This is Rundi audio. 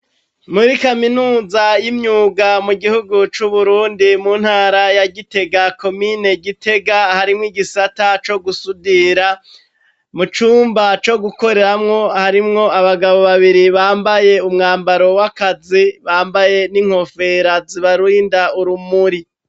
Muri kaminuza y'imyuga mu gihugu c'Uburundi mu ntara ya Gitega komine Gitega harimwo igisata co gusudira. Mu cumba co gukoreramwo harimwo abagabo babiri bambaye umwambaro w'akazi, bambaye n'inkofera zibarinda urumuri.